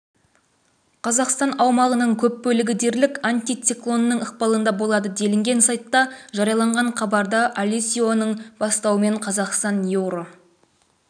қазақстан аумағының көп бөлігі дерлік антициклонның ықпалында болады делінген сайтта жарияланған хабарда алесионың бастауымен қазақстан еуро